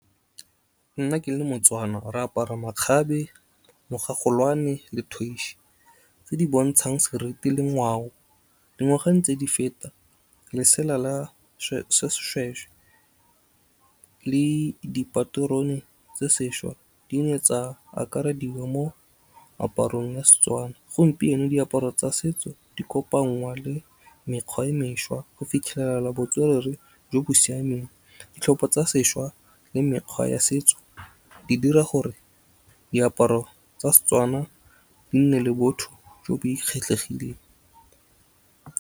Nna ke le moTswana, re apara makgabe, mogagolwane, le , tse di bontshang seriti le ngwao. Dingwaga ntse di feta, lesela la seshwehwe le dipaterone tse sešwa, di ne tsa akarediwa mo aparong ya Setswana. Gompieno diaparo tsa setso di kopangwa le mekgwa e mešwa, go fitlhelela botswerere jo bo siameng. Ditlhopha tsa sešwa le mekgwa ya setso di dira gore diaparo tsa Setswana di nne le botho jo bo e kgetlhegileng.